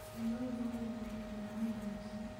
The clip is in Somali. Lo'du waxay bixiyaan caano wanaagsan.